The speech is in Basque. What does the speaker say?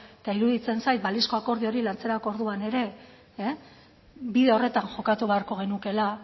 eta iruditzen zait balizko akordio hori lantzera orduan ere bide horretan jokatu beharko genukeela